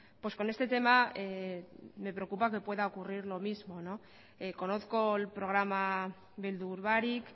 pues con este tema me preocupa que pueda ocurrir lo mismo conozco el programa beldur barik